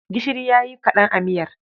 Gishiri ya yi kaɗan a miyar.